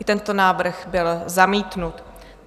I tento návrh byl zamítnut.